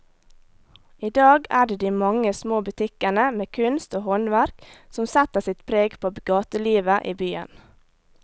I dag er det de mange små butikkene med kunst og håndverk som setter sitt preg på gatelivet i byen.